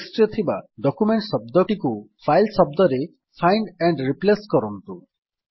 text ରେ ଥିବା document ଶବ୍ଦଟିକୁ ଫାଇଲ୍ ଶବ୍ଦରେ ଫାଇଣ୍ଡ ଆଣ୍ଡ୍ ରିପ୍ଲେସ୍ କରନ୍ତୁ